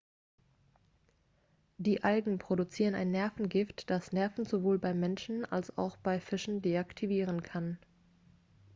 die algen produzieren ein nervengift das nerven sowohl beim menschen als auch bei fischen deaktivieren kann